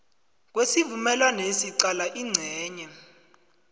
kwesivumelwanesi qala incenye